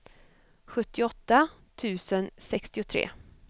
sjuttioåtta tusen sextiotre